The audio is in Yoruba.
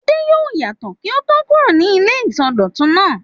Adé yóò yàtọ̀ kí ó tó kúrò ní ilé ìsọdọ̀tun náà.